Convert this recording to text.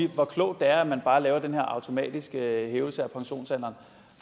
hvor klogt det er at man bare laver den her automatiske hævelse af pensionsalderen